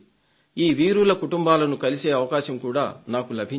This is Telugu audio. ఈ వీరుల కుటుంబాలను కలిసే అవకాశం కూడా నాకు లభించింది